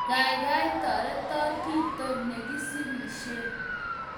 Gaigai, toreton kito negisirishei